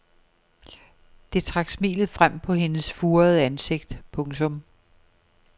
Det trak smilet frem på hendes furede ansigt. punktum